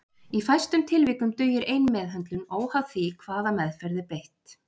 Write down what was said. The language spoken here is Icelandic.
Í fæstum tilvikum dugir ein meðhöndlun óháð hvaða meðferð er beitt.